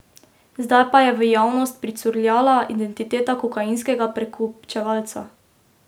Zdaj pa je v javnost pricurljala identiteta kokainskega prekupčevalca.